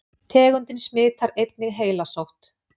Tegundin smitar einnig heilasótt.